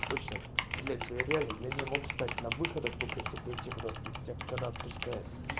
точно блять я реальный я не мог встать на выходах а кто-то если пойти куда-то когда отпускает